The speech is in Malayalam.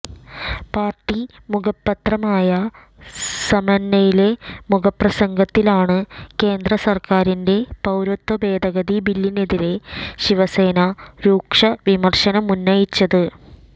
പാര്ട്ടി മുഖപത്രമായ സാമ്നയിലെ മുഖപ്രസംഗത്തിലാണ് കേന്ദ്രസര്ക്കാരിന്റെ പൌരത്വ ഭേദഗതി ബില്ലിനെതിരെ ശിവസേന രൂക്ഷ വിമര്ശനമുന്നയിച്ചത്